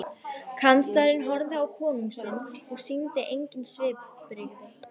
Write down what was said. Kanslarinn horfði á konung sinn og sýndi engin svipbrigði.